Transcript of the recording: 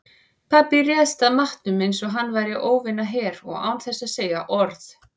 Pabbi réðst að matnum einsog hann væri óvinaher og án þess að segja orð.